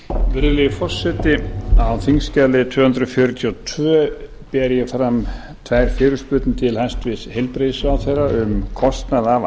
virðulegi forseti á þingskjali tvö hundruð fjörutíu og tvö ber ég fram tvær fyrirspurnir til hæstvirts heilbrigðisráðherra um kostnað af